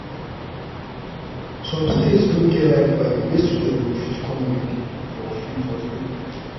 some states no get library wey students go fit come read for free for free